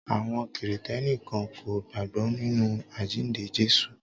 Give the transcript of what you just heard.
Àwọn kìrìtẹ́ní kan kò gbágbọ́ nínú àjíǹde Jésù.